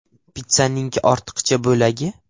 Pitssaning ortiqcha bo‘lagi?